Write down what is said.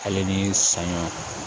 Ale ni saɲɔ